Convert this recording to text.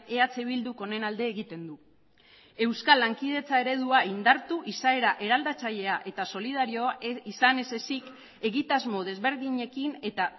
eh bilduk honen alde egiten du euskal lankidetza eredua indartu izaera eraldatzailea eta solidarioa izan ez ezik egitasmo desberdinekin eta